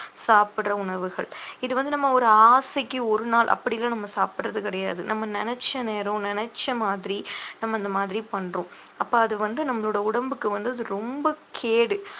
சாப்பிடுற உணவுகள் இது வந்து நம்ம ஒரு ஆசைக்கு ஒரு நாள் அப்புடில்லாம் நம்ம சாப்பிடுறது கிடையாது நம்ம நினைச்ச நேரம் நினைச்ச மாதிரி நம்ம இந்த மாதிரி பண்றோம் அப்போ அது வந்து நம்மளோட உடம்புக்கு வந்து அது ரொம்ப கேடு